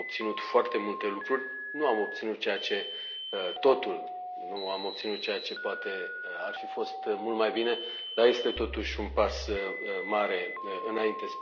Am obținut foarte multe lucruri, nu am obținut totul, nu am obținut ceea ce poate ar fi fost mult mai bine, dar este, totuși, un pas mare înainte.